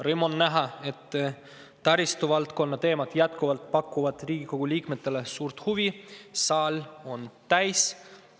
Rõõm on näha, et taristuvaldkonna teemad pakuvad endiselt Riigikogu liikmetele suurt huvi – saal on täis.